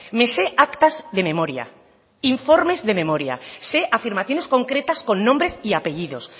me sé actas de memoria informes de memoria sé afirmaciones concretas con nombres y apellidos